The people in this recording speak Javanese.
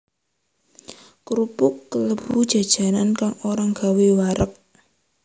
Krupuk kalebu jajanan kang ora gawé wareg